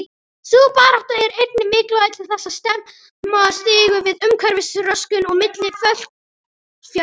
Sú barátta er einnig mikilvæg til þess að stemma stigu við umhverfisröskun og mikilli fólksfjölgun.